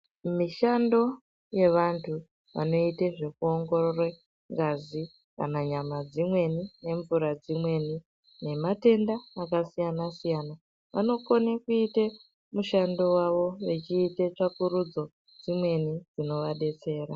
Mushando wevantu vanoite zvekuwongorore ngazi kana nyama dzimweni nemvura dzimweni nematenda akasiyana siyana vanokone kuite mushando wavo vechiite tsvakurudzo dzimweni dzinovadetsera.